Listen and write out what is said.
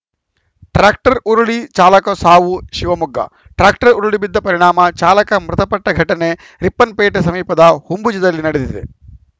tractor ಉರುಳಿ ಚಾಲಕ ಸಾವು ಶಿವಮೊಗ್ಗ ಟ್ರ್ಯಾಕ್ಟರ್‌ ಉರುಳಿಬಿದ್ದ ಪರಿಣಾಮ ಚಾಲಕ ಮೃತಪಟ್ಟಘಟನೆ ರಿಪ್ಪನ್‌ಪೇಟೆ ಸಮೀಪದ ಹೊಂಬುಜದಲ್ಲಿ ನಡೆದಿದೆ